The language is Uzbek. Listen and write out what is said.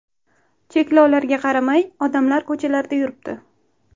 Cheklovlarga qaramay, odamlar ko‘chalarda yuribdi.